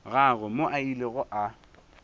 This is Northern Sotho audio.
gagwe moo a bilego a